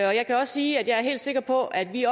og jeg kan også sige at jeg er helt sikker på at vi